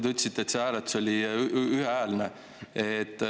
Te ütlesite, et see oli ühehäälne.